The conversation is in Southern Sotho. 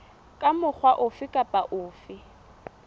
ka mokgwa ofe kapa ofe